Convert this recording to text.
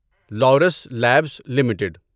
lovers labs limited